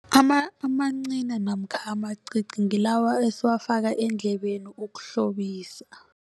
Amancina namkha amacici ngilawa esiwafaka edlebeni ukuhlobisa.